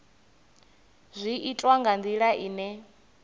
zwi itwa nga ndila ine